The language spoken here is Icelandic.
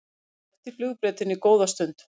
að eftir flugbrautinni góða stund.